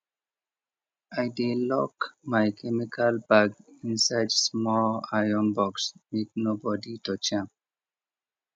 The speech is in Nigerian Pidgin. i dey lock my chemical bag inside small iron box make nobody touch am